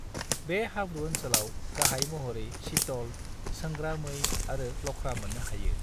बे हाब्रु ओनसोलाव गाहाय महरै चीतल, सोंग्रा मै आरो लख्रा मोन्नो हायो।